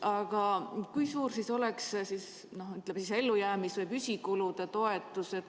Aga kui suur võiks olla, ütleme, ellujäämis- või püsikulude toetus?